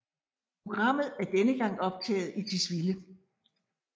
Programmet er denne gang optaget i Tisvilde